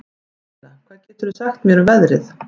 Daníela, hvað geturðu sagt mér um veðrið?